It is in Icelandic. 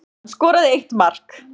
Hann skoraði eitt mark